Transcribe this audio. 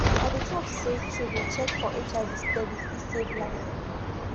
i dey talk say to dey check for hiv steady fit save life